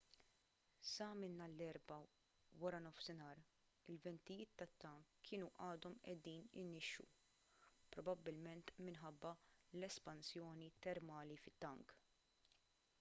sa minn nhar l-erbgħa wara nofsinhar il-ventijiet tat-tank kienu għadhom qiegħdin inixxu probabbilment minħabba l-espansjoni termali fit-tank